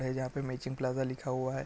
ए जहाँ पे matching plaza लिखा हुआ हैं ।